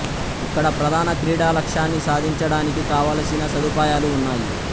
ఇక్కడ ప్రధాన క్రీడా లక్ష్యాన్ని సాధించడానికి కావలసిన సదుపాయాలు ఉన్నాయి